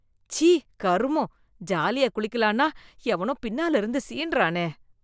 ச்சீ கருமம், ஜாலியா குளிக்கலான்னா எவனோ பின்னால இருந்து சீண்டறானே.